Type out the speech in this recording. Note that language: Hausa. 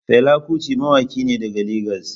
Fela Kuti mawaki ne daga Legas.